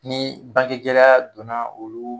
Ni bangegɛlɛya donna olu